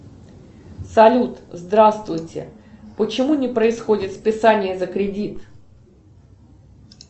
салют здравствуйте почему не происходит списание за кредит